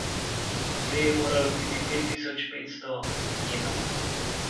V njej je moralo biti pet tisoč petsto jenov.